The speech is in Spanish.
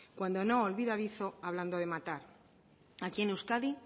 cuando no olvidadizo hablando de matar aquí en euskadi